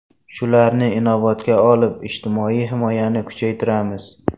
Shularni inobatga olib, ijtimoiy himoyani kuchaytiramiz.